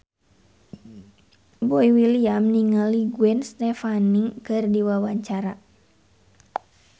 Boy William olohok ningali Gwen Stefani keur diwawancara